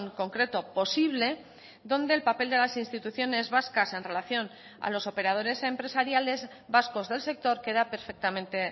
concreto posible donde el papel de las instituciones vascas en relación a los operadores empresariales vascos del sector queda perfectamente